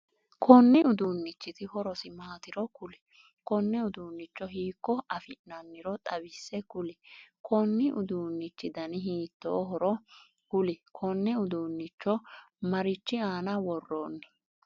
Konni uduunichiti horosi maatiro kuli? Konne uduunicho hiiko afi'nanniro xawise kuli? Konni uduunnichi danni hiitoohoro kuli? Kone uduunnicho marichi aanna woroonni?